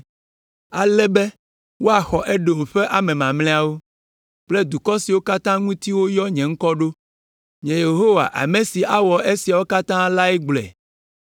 ale be woaxɔ Edom ƒe ame mamlɛawo kple dukɔ siwo katã ŋuti woyɔ nye ŋkɔ ɖo.” Nye Yehowa ame si awɔ esiawo katã lae gblɔe.